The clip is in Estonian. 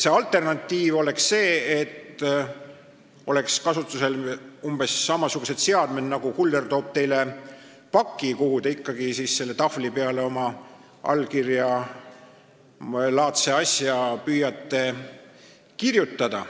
Alternatiiv oleks see, et kasutusel oleksid umbes samasugused seadmed nagu siis, kui kuller toob teile paki ja te püüate siis selle tahvli peale mingi allkirjalaadse asja kirjutada.